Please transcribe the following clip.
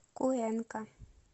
куэнка